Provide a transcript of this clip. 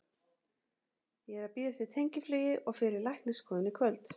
Ég er að bíða eftir tengiflugi og fer í læknisskoðun í kvöld.